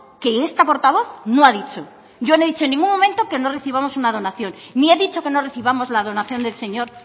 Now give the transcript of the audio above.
que esta portavoz no ha dicho yo no he dicho en ningún momento que no recibamos una donación ni he dicho que no recibamos la donación del señor